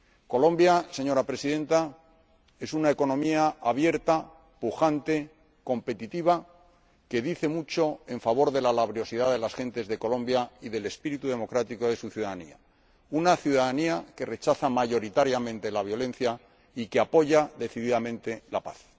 Colombia, señora Presidenta, es una economía abierta, pujante, competitiva, que dice mucho en favor de la laboriosidad de las gentes de Colombia y del espíritu democrático de su ciudadanía, una ciudadanía que rechaza mayoritariamente la violencia y que apoya decididamente la paz.